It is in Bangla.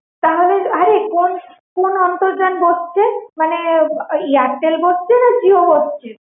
তাহলে আরে কোন অন্তর্জাল বসছে? মানে Airtel বসছে না Jio বসছে?